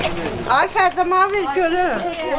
Ay Xərzəma, ver görün.